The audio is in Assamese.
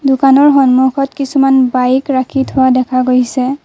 দোকানৰ সন্মুখত কিছুমান বাইক ৰাখি থোৱা দেখা গৈছে।